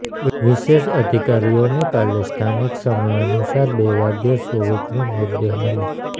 વિશેષ અધિકારીઓને કાલે સ્નાથિક સમયાનુસાર બે વાગ્યે સોવિકનો મૃતદેહ મળ્યો